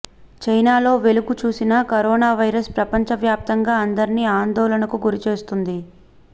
చైనాలో వెలుగు చూసిన కరోనా వైరస్ ప్రపంచవ్యాప్తంగా అందర్నీ ఆందోళనకు గురి చేస్తోంది